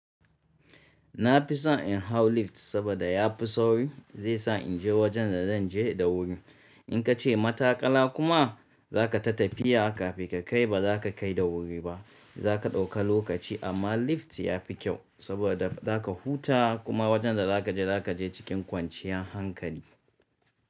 Na fi son in hau lift saboda ya fi sauri. Zai sa in je wajen da zan je da wuri. In ka ce mataƙala kuma za ka ta tafiya kafin ka kai ba za ka kai da wuri ba. Zaka dauka lokaci amman lift ya fi kyau saboda huta kuma wajen da zaka je, zaka je cikin kwanciyan hankali.